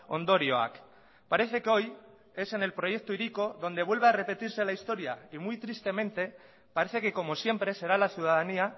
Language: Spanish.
ondorioak parece que hoy es en el proyecto hiriko donde vuelve a repetirse la historia y muy tristemente parece que como siempre será la ciudadanía